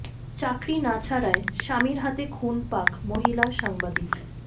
চাকরি না ছাড়ায় স্বামীর হাতে খুন পাক মহিলা সাংবাদিক